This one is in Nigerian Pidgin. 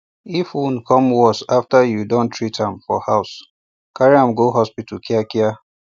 if wound come worse after you don treatam for house carryam go hospital kia kia